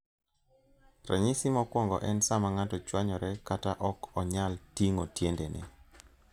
Ranyisi mokwongo en sama ng'ato chwanyore kata ok onyal ting'o tiendene.